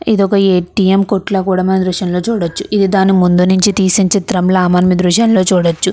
ఇదొక ఎటిఎం కొట్టుల కూడా మనం ఈ దృశ్యం లో చూడవచ్చు దాని ముందు నుంచి తీసిన చిత్రంలా మనం ఈ దృశ్యం లో చూడవచ్చు .